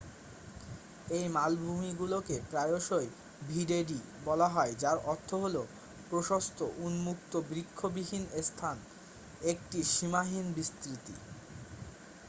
"এই মালভূমিগুলিকে প্রায়শই "ভিডেডি" বলা হয় যার অর্থ হলো প্রশস্ত উন্মুক্ত বৃক্ষবিহীন স্থান একটি সীমাহীন বিস্তৃতি।